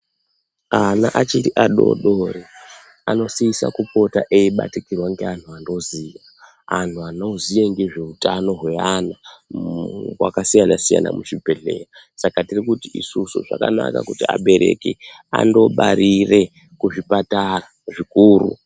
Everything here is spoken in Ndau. Ana achiri adoodori anosisa kupota eibatikirwa ngeantu antu anoziya ngezveutano hweana wakasiyana siyana muzvibhedhlera saka tirikuti isusu zvakanaka kuti abereki andobarire kuzvipatara zvikuru.